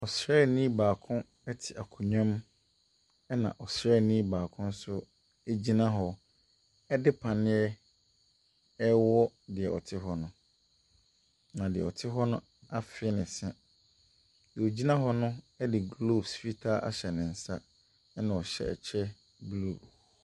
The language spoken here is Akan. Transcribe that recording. Ɔsraani baako te akonnwa mu, ɛnna ɔsraani baako nso gyina hɔ de panneɛ rewɔ deɛ ɔte hɔ no, na deɛ ɔte hɔ no afee ne se. Deɛ ɔgyina hɔ no de gloves fitaa ahyɛ ne nsa, ɛnna ɔhyɛ kyɛ blue.